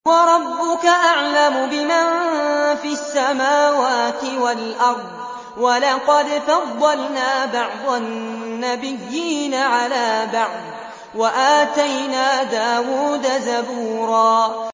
وَرَبُّكَ أَعْلَمُ بِمَن فِي السَّمَاوَاتِ وَالْأَرْضِ ۗ وَلَقَدْ فَضَّلْنَا بَعْضَ النَّبِيِّينَ عَلَىٰ بَعْضٍ ۖ وَآتَيْنَا دَاوُودَ زَبُورًا